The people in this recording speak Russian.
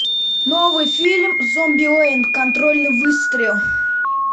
новый фильм зомбилэнд контрольный выстрел